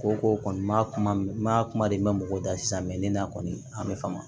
Ko ko kɔni ma kuma n ma kuma de mɛn mɔgɔw da sisan ne na kɔni a bɛ faamu